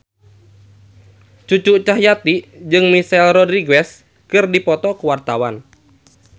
Cucu Cahyati jeung Michelle Rodriguez keur dipoto ku wartawan